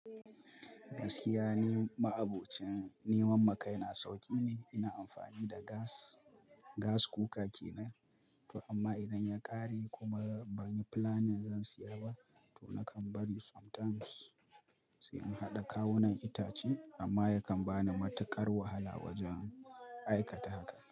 Gaskiya ni, ma'abocin neman makai na sauƙi ne. Ina amfani da gas, gas cooka kenan. To amma idan ya ƙare kuma ban yi plan zan siya ba, to nakan bari sometimes sai in haɗa kawunan itace amma yakan bani matuƙar wahala wajen aikata haka.